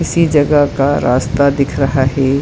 इसी जगह का रास्ता दिख रहा है।